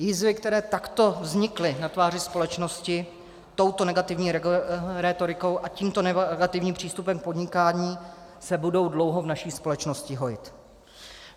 Jizvy, které takto vznikly na tváři společnosti touto negativní rétorikou a tímto negativním přístupem k podnikání, se budou dlouho v naší společnosti hojit.